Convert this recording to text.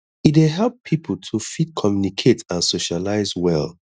e dey help pipo to fit communicate and socialize well